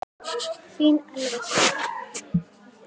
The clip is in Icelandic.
Þín Elfa Sif.